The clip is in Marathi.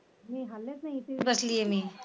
मी हाललेच नाय इथेच बसलेय मी